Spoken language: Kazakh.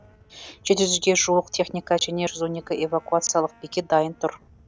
жеті жүзге жуық техника және жүз он екі эвакуациялық бекет дайын тұр